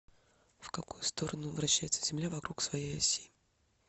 в какую сторону вращается земля вокруг своей оси